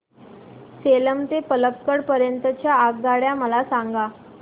सेलम ते पल्लकड पर्यंत च्या आगगाड्या मला सांगा